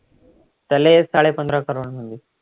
त्याले साडे पंधरा crores मध्ये